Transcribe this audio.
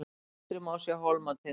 til vinstri má sjá hólmatind